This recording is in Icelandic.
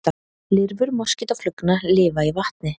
Lirfur moskítóflugna lifa í vatni.